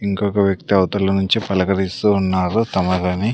ఇంకొక వ్యక్తి అవతల నుంచి పలకరిస్తూ ఉన్నారు తమరిని.